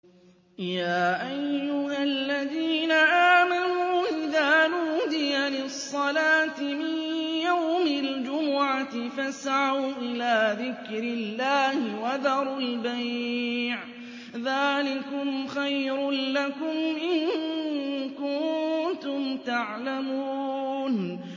يَا أَيُّهَا الَّذِينَ آمَنُوا إِذَا نُودِيَ لِلصَّلَاةِ مِن يَوْمِ الْجُمُعَةِ فَاسْعَوْا إِلَىٰ ذِكْرِ اللَّهِ وَذَرُوا الْبَيْعَ ۚ ذَٰلِكُمْ خَيْرٌ لَّكُمْ إِن كُنتُمْ تَعْلَمُونَ